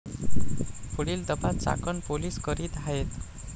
पुढील तपास चाकण पोलीस करीत आहेत.